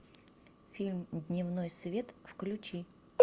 фильм дневной свет включи